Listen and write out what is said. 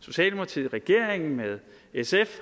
socialdemokratiet regeringen sf